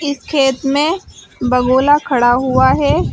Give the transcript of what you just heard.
खेत में बगुला खड़ा हुआ है।